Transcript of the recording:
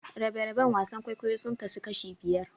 Rabe-raben wasan kwaikwayo sun kasu kashi biyar.